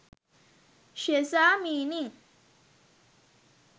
sheza meaning